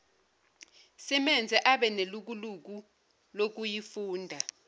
simenze abenelukuluku lokuyifunda